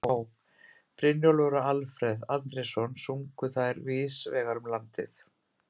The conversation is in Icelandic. Á., Brynjólfur og Alfreð Andrésson sungu þær víðs vegar um landið.